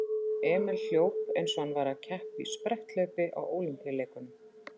Emil hljóp eins og hann væri að keppa í spretthlaupi á Ólympíuleikunum.